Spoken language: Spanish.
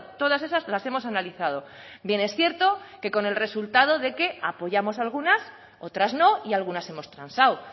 todas esas las hemos analizado bien es cierto que con el resultado de que apoyamos algunas otras no y algunas hemos transado